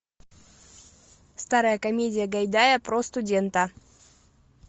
старая комедия гайдая про студента